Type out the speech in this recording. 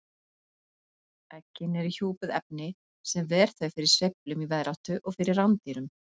Eggin eru hjúpuð efni sem ver þau fyrir sveiflum í veðráttu og fyrir rándýrum.